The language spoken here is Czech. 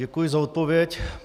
Děkuji za odpověď.